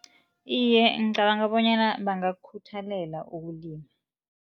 Iye, ngicabanga bonyana bangakukhuthalela ukulima.